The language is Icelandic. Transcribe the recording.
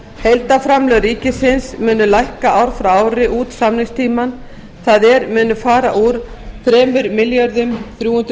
heildarframlög ríkisins munu lækka ár frá ári út samningstímann það er munu fara úr þrjú þúsund þrjú hundruð fjörutíu